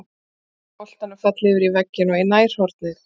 Hann snéri boltann fallega yfir vegginn og í nærhornið.